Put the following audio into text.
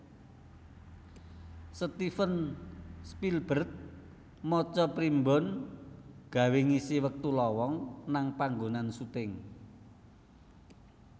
Steven Spielberg maca primbon gawe ngisi wektu lowong nang panggonan syuting